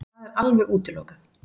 Það er alveg útilokað.